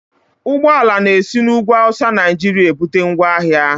Ụgbọala na-esi n'ugwu Awụsa Naijiria ebute ngwaahịa